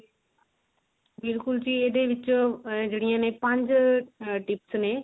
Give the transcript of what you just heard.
ਬਿਲਕੁਲ ਜੀ ਇਹਦੇ ਵਿੱਚ ਆ ਜਿਹੜੀਆਂ ਨੇ ਪੰਜ tips ਨੇ